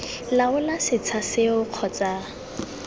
laola setsha seo kgotsa ii